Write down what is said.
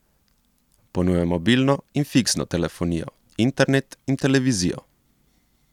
Ponuja mobilno in fiksno telefonijo, internet in televizijo.